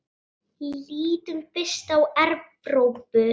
Lítum fyrst á Evrópu.